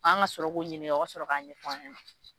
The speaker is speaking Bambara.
An ka sɔrɔ k'o ɲini o ka sɔrɔ k'a ɲɛ fɔ an ɲɛna.